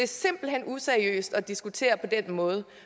simpelt hen useriøst at diskutere på den måde